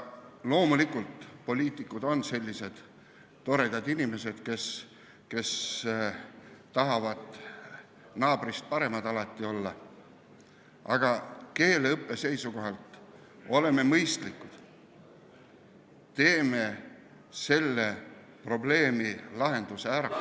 Loomulikult, poliitikud on sellised toredad inimesed, kes tahavad alati naabrist paremad olla, aga keeleõppe seisukohalt olgem mõistlikud, lahendame selle probleemi ära.